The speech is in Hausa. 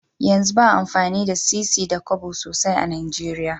Yanzu baa amfani da sisi da Kobo sosai a nigeria